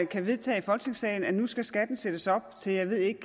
kan vedtage i folketingssalen at nu skal skatten sættes op til jeg ved ikke